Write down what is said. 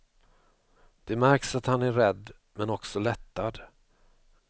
Det märks att han är rädd, men också lättad.